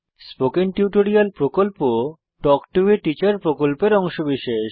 spoken tutorial প্রকল্প talk to a teacher প্রকল্পের অংশবিশেষ